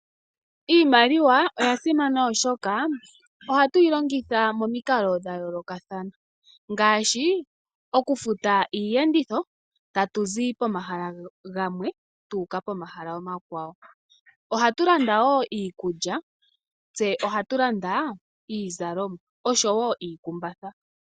Iimaliwa oya simana oshoka ohatu yi longitha momikalo dha yoolokathana ngaashi okufuta iiyenditho tatu zi pomahala gamwe tuuka pomahala omakwawo. Ohatu landa woo iikulya tse ohatu landa iizalomwa osho woo iikumbatha.